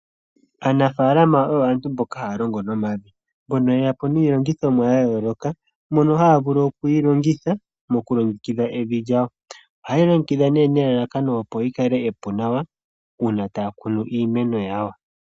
Aanafaalama oyo aantu mboka haya longo nomavi, mbono ye ya po niilongithomwa yayooloka mono haya vulu oku yi longitha moku longekidha evi lyawo. Ohaye yi longekidha nee nelalakano opo lyikale epu nawa uuna taya kunu iimeno yawo.